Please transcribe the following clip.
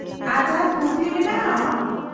-ᱟᱨ ᱡᱟᱦᱟᱱ ᱠᱩᱠᱞᱤ ᱢᱮᱱᱟᱜᱼᱟ ᱟᱢᱟᱜ ?